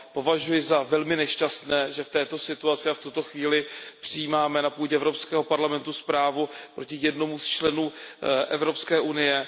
Považuji za velmi nešťastné, že v této situaci a v tuto chvíli přijímáme na půdě Evropského parlamentu zprávu proti jednomu z členů Evropské unie.